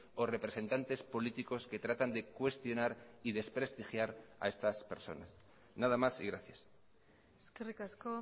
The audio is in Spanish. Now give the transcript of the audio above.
o representantes políticos que tratan de cuestionar y desprestigiar a estas personas nada más y gracias eskerrik asko